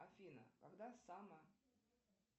афина когда самая